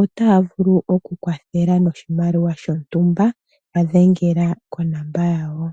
otaya vulu okukwathela noshimaliwa shontumba. Yadhengela konomola yawo.